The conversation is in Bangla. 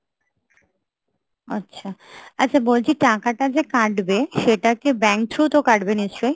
আচ্ছা, আচ্ছা বলছি টাকাটা যে কাটবে সেটা কি bank through তো কাটবে নিশ্চয়ই?